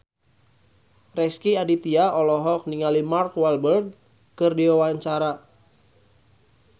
Rezky Aditya olohok ningali Mark Walberg keur diwawancara